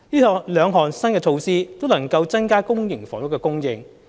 這兩項新措施，都能夠增加公營房屋的供應。